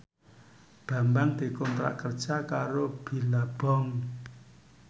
Bambang dikontrak kerja karo Billabong